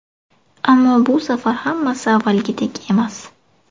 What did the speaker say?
Ammo bu safar hammasi avvalgidek emas.